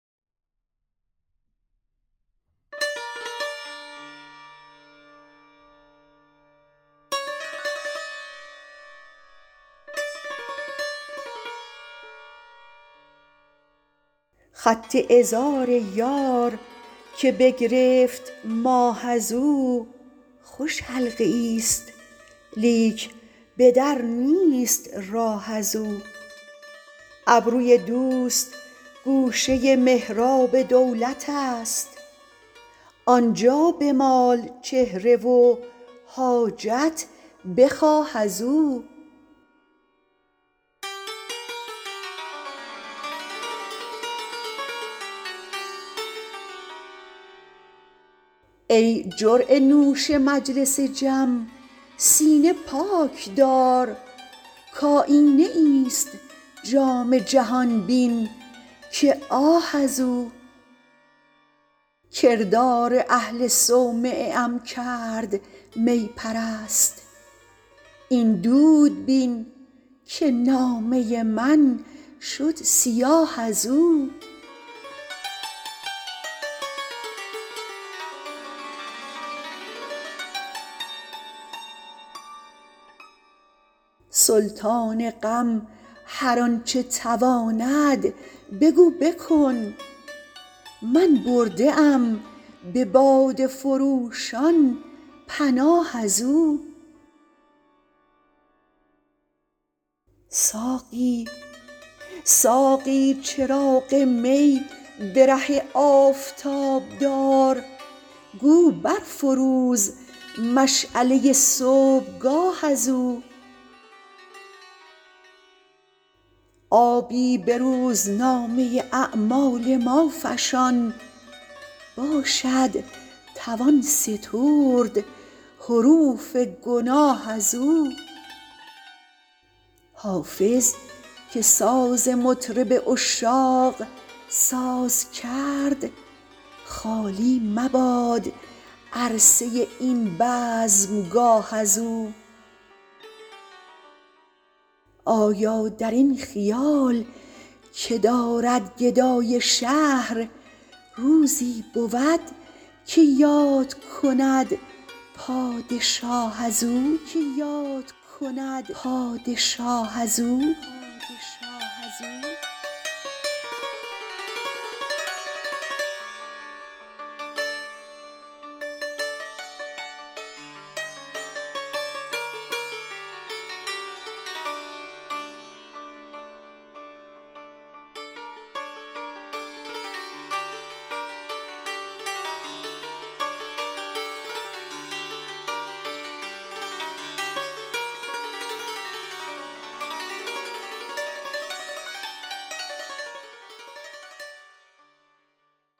خط عذار یار که بگرفت ماه از او خوش حلقه ای ست لیک به در نیست راه از او ابروی دوست گوشه محراب دولت است آن جا بمال چهره و حاجت بخواه از او ای جرعه نوش مجلس جم سینه پاک دار کآیینه ای ست جام جهان بین که آه از او کردار اهل صومعه ام کرد می پرست این دود بین که نامه من شد سیاه از او سلطان غم هر آن چه تواند بگو بکن من برده ام به باده فروشان پناه از او ساقی چراغ می به ره آفتاب دار گو بر فروز مشعله صبحگاه از او آبی به روزنامه اعمال ما فشان باشد توان سترد حروف گناه از او حافظ که ساز مطرب عشاق ساز کرد خالی مباد عرصه این بزمگاه از او آیا در این خیال که دارد گدای شهر روزی بود که یاد کند پادشاه از او